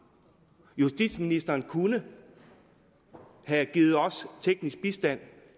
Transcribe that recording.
justitsministeren kunne have givet os teknisk bistand